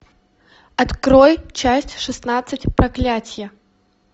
открой часть шестнадцать проклятие